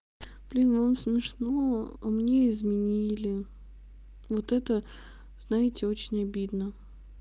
блин вам смешно а мне изменили вот это знаете очень обидно